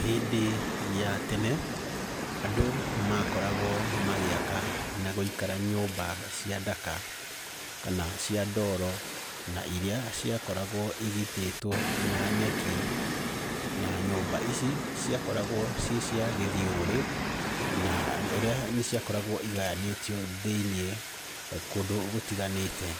Hĩndĩ ya tene, andũ makoragwo magĩaka na gwĩkara nyũmba cia ndaka kana cia ndoro na iria ciakoragwo igitĩtwo na nyeki, na nyũmba ici ciakoragwo ciĩ cia gĩthiũrũrĩ na ũrĩa, nĩciakoragwo igayanĩtio thĩiniĩ kũndũ gũtiganĩte.